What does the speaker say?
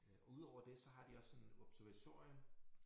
Øh udover det så har de også sådan observatorium